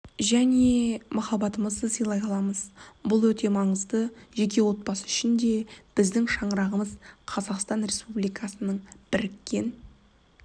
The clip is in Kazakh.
және махаббатымызды сыйлай аламыз бұл өте маңызды жеке отбасы үшінде және біздің шаңырағымыз қазақстан республикасы-біріккен